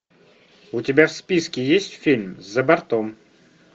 у тебя в списке есть фильм за бортом